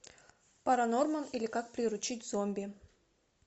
паранорман или как приручить зомби